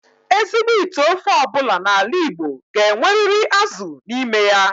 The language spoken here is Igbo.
Ezigbo ite ofe obula n'ala Igbo ga-enweriri azu n'ime ya.